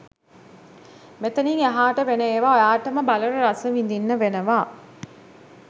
මෙතනිං එහාට වෙන ඒවා ඔයාටම බලලා රසවිඳින්න වෙනවා.